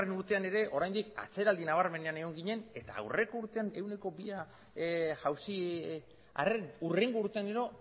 urtean ere oraindik atzeraldi nabarmenean egon ginen eta aurreko urtean ehuneko bia jauzi arren hurrengo urtean gero